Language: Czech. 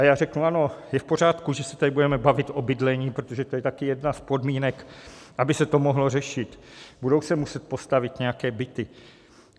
A já řeknu: ano, je v pořádku, že se tady budeme bavit o bydlení, protože to je taky jedna z podmínek, aby se to mohlo řešit, budou se musit postavit nějaké byty.